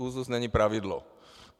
Úzus není pravidlo.